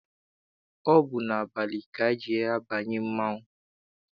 Ọ bụ abalị ka eji abanye mmanwụ.